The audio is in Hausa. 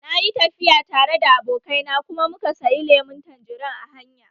Na yi tafiya tare da abokai na kuma muka sayi lemun tanjerin a hanya